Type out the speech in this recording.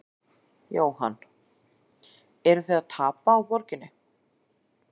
Jóhann: Eruð þið að tapa á borginni?